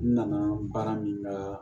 N nana baara min na